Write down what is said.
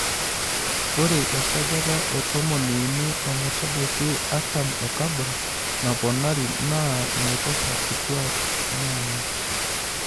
Ore esajata e tomoniuini ometabaiki artam e kabon naponari naa naiposha kituak naamit.